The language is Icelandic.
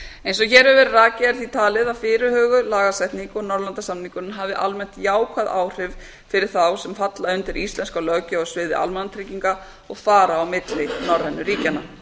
eins og hér hefur verið rakið er því talið að fyrirhuguð lagasetning og norðurlandasamningurinn hafi almennt jákvæð áhrif fyrir þá sem falla undir íslenska löggjöf á sviði almannatrygginga og fara á milli norrænu ríkjanna